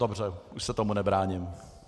Dobře, už se tomu nebráním.